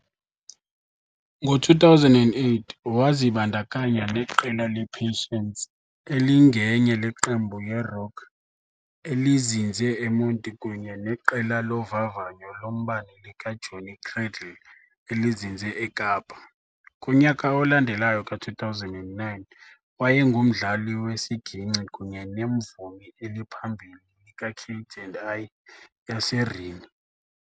Ngo-2008, wazibandakanya neqela le-Patience elingenye le qembu yerock elizinze eMonti kunye neqela lovavanyo lombane likaJohnny Cradle elizinze eKapa. Kunyaka olandelayo ka-2009, wayengumdlali wesiginkci kunye nemvumi eliphambili likaKate and I yase Rhini.